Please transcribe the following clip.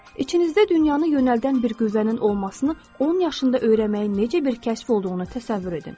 İçinizdə dünyanı yönəldən bir qüvvənin olmasını 10 yaşında öyrənməyin necə bir kəşf olduğunu təsəvvür edin.